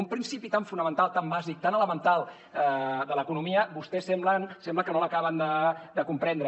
un principi tan fonamental tan bàsic tan elemental de l’economia vostès sembla que no l’acaben de comprendre